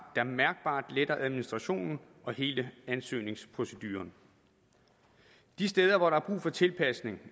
der mærkbart letter administrationen og hele ansøgningsproceduren de steder hvor der er brug for tilpasninger